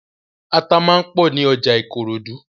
Ata máa ń pọ̀ ní ọjà Ìkòròdú.